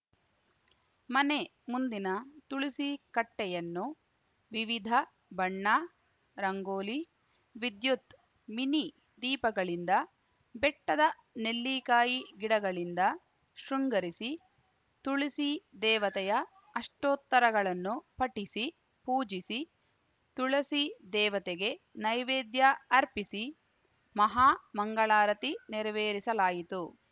ಮನೆ ಮುಂದಿನ ತುಳಸಿ ಕಟ್ಟೆಯನ್ನು ವಿವಿಧ ಬಣ್ಣ ರಂಗೋಲಿ ವಿದ್ಯುತ್‌ ಮಿನಿ ದೀಪಗಳಿಂದ ಬೆಟ್ಟದ ನಲ್ಲಿಕಾಯಿ ಗಿಡಗಳಿಂದ ಶೃಂಗರಿಸಿ ತುಳಸಿ ದೇವತೆಯ ಅಷ್ಟೋತ್ತರಗಳನ್ನು ಪಠಿಸಿ ಪೂಜಿಸಿ ತುಳಸಿ ದೇವತೆಗೆ ನೈವೇದ್ಯ ಅರ್ಪಿಸಿ ಮಹಾಮಂಗಳಾರತಿ ನೆರವೇರಿಸಲಾಯಿತು